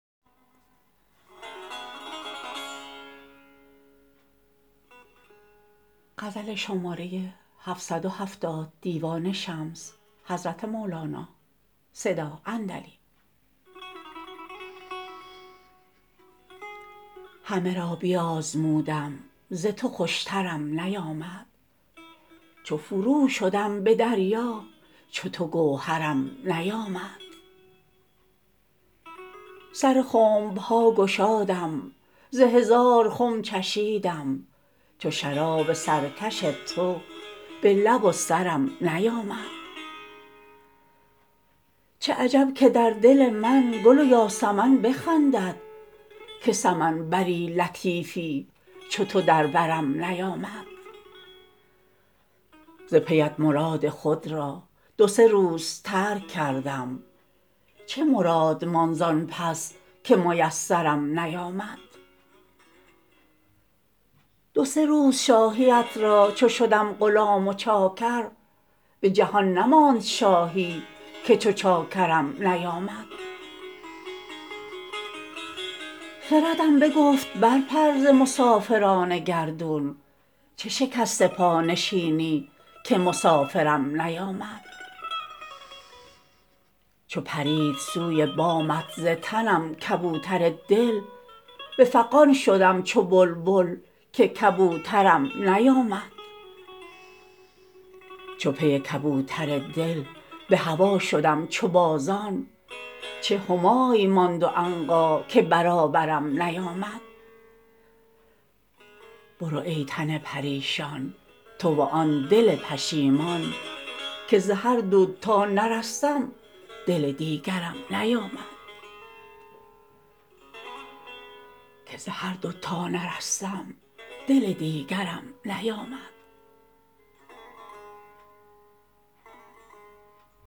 همه را بیازمودم ز تو خوشترم نیامد چو فرو شدم به دریا چو تو گوهرم نیامد سر خنب ها گشادم ز هزار خم چشیدم چو شراب سرکش تو به لب و سرم نیامد چه عجب که در دل من گل و یاسمن بخندد که سمن بر لطیفی چو تو در برم نیامد ز پیت مراد خود را دو سه روز ترک کردم چه مراد ماند زان پس که میسرم نیامد دو سه روز شاهیت را چو شدم غلام و چاکر به جهان نماند شاهی که چو چاکرم نیامد خردم بگفت برپر ز مسافران گردون چه شکسته پا نشستی که مسافرم نیامد چو پرید سوی بامت ز تنم کبوتر دل به فغان شدم چو بلبل که کبوترم نیامد چو پی کبوتر دل به هوا شدم چو بازان چه همای ماند و عنقا که برابرم نیامد برو ای تن پریشان تو و آن دل پشیمان که ز هر دو تا نرستم دل دیگرم نیامد